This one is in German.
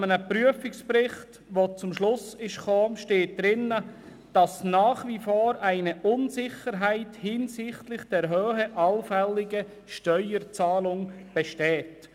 Ein Prüfungsbericht kommt zum Schluss und in diesem steht, dass nach wie vor «eine Unsicherheit hinsichtlich der Höhe allfälliger Steuerzahlungen besteht».